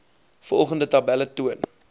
volgende tabelle toon